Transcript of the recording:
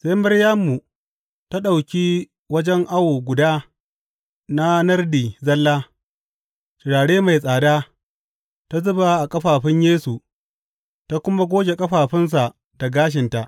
Sai Maryamu ta ɗauki wajen awo guda na nardi zalla, turare mai tsada; ta zuba a ƙafafun Yesu ta kuma goge ƙafafunsa da gashinta.